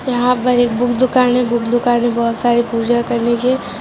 यहाँ पर एक बुक दुकान है बुक दूकान में बहुत साऱी पूजा करने की है।